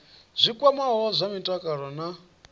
zwi kwamaho zwa mutakalo na